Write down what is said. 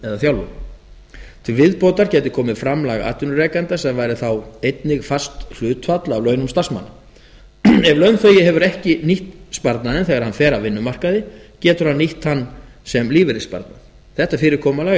þjálfun til viðbótar gæti komið framlag atvinnurekanda sem væri þá einnig fast hlutfall af launum starfsmanna ef launþegi hefur ekki nýtt sparnaðinn þegar hann fer af vinnumarkaði getur hann nýtt hann sem lífeyrissparnað þetta fyrirkomulag er